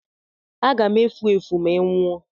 Aga m efu efu ma ị nwụọ!